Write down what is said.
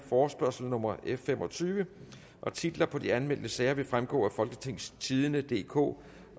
forespørgsel nummer f fem og tyve titler på de anmeldte sager vil fremgå af folketingstidende DK